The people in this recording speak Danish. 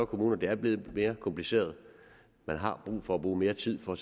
kommuner og det er blevet mere kompliceret man har brug for at bruge mere tid for at